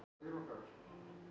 Guðrún, kona Helga í Rauðseyjum.